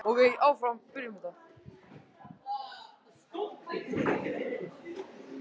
Henni hefur alltaf þótt svo gaman að búa til sögur.